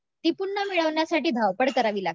ती पुन्हा मिळवण्यासाठी धावपळ करावी लागते